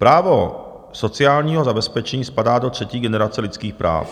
Právo sociálního zabezpečení spadá do třetí generace lidských práv.